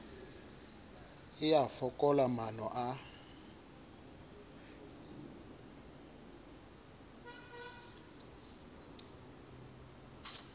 e a fokola maano a